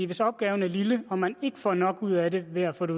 hvis opgaven er lille og man ikke får nok ud af det ved at få det